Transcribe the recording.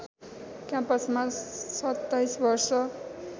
क्याम्पसमा २७ वर्ष